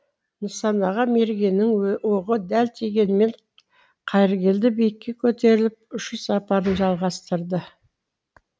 нысанаға мергеннің оғы дәл тигенімен қайыргелді биікке көтеріліп ұшу сапарын жалғастырды